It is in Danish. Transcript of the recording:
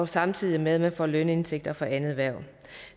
samtidig med at man har lønindtægter fra andet hverv